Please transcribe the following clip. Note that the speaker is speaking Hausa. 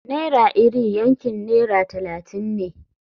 Naira iri yankin naira talatin ne.